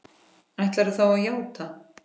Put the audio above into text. Og ætlarðu þá að játa?